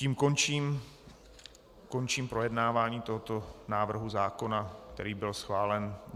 Tím končím projednávání tohoto návrhu zákona, který byl schválen.